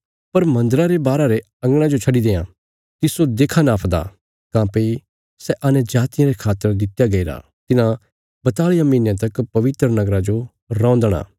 पर मन्दरा रे बाहरा रे अंगणा जो छड्डी देयां तिस्सो देखां नापदा काँह्भई सै अन्यजातियां रे खातर दित्या गईरा तिन्हां बताल़ियां महीनयां तक पवित्र नगरा जो रौंदणा